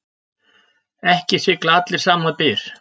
Ekki sigla allir sama byr.